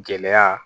Gɛlɛya